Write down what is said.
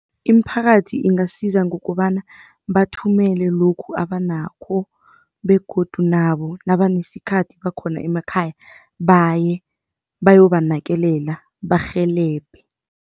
Imiphakathi ingasiza ngokobana bathumele lokhu abanakho begodu nabo nabanesikhathi bakhona emakhaya baye bayobanakekela barhelebhe.